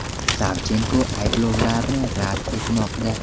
Savchenko ayblovlarni rad etmoqda.